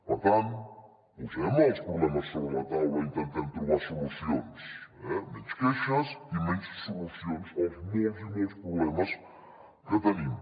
per tant posem els problemes sobre la taula i intentem trobar solucions eh menys queixes i més solucions als molts i molts problemes que tenim